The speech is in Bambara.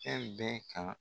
Fɛn bɛɛ kan.